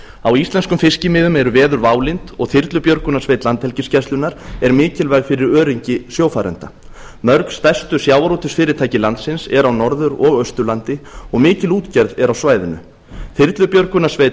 á íslenskum fiskimiðum eru veður válynd og þyrlubjörgunarsveit landhelgisgæslunnar er mikilvæg fyrir öryggi sjófarenda mörg stærstu sjávarútvegsfyrirtæki landsins eru á norður og austurlandi og mikil útgerð er á svæðinu þyrlubjörgunarsveit